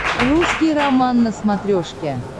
русский роман на смотрешке